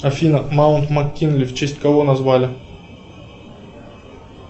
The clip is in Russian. афина маунт мак кинли в честь кого назвали